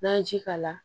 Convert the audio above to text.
N'an ye ji k'a la